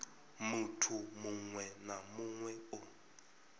muthu muṅwe na muṅwe o